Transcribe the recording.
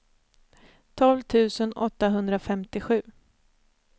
tolv tusen åttahundrafemtiosju